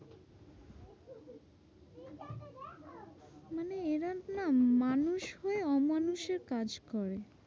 মানে এরা না মানুষ হয়ে অমানুষের কাজ করে।